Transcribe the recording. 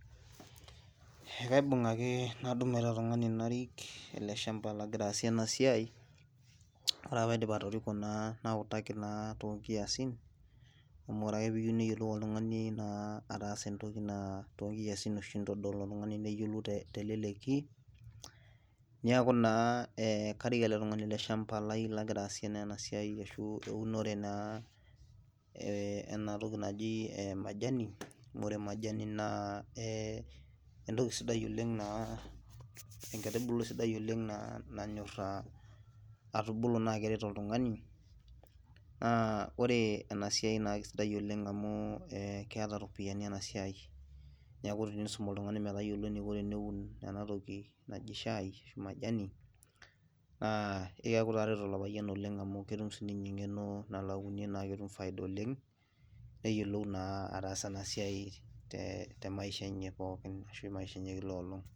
Eeh kaibung' ake nadumu ele tung'ani narik ele shampa lagira asie ena siai, ore pee aiidip atoriko nautaki naa too nkiasin, amu ore naa pee eyieu neyiolou oltung'ani naa ataasa entoki naa too nkiasin, itodol oltung'ani neyiolou teleleki niaku naa karik ele tung'ani ele shampa lai, lagira aasie naa ena siai ashu eunore naa ena toki naji majina, amu ore majai naa entoki sidai oleng. enkaitubului sidai oleng' naa nanyora atubuli naa keret oltungani, naa ore ena siia naa kisidai oleng amu ee keeta ropiyiani ena siai, niaku tinisum oltungani eniko metayiolo eneiko teneun, ena toki naji shai ashu majani, naa keeku itareto ilo payian oleng amu ketum sii ninye engeno, nalo auniie naa peetum faida oleng',neyiolou naa ataasa ena siai te maisha enye pookin ashu maisha enye kila enkolong'.